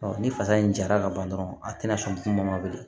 ni fasa in jara ka ban dɔrɔn a tɛna sɔn kuma ma bilen